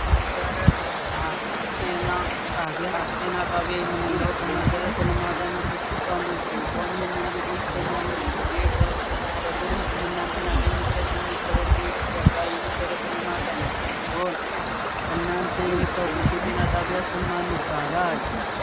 መሰረተ ልማት ጤና ጣቢያ ጤና ጣቢያ የምንለው ከመሰረተ ልማቶች አንዱ ሲሆን ይህም እንግዲህ በሚያመን ጊዜ ህክምና ህክምና እንድናገኝ የሚያደርገን ሲሆን እናንተ የምታውቁት ጤና ጣቢያ ስም ማን ይባላል።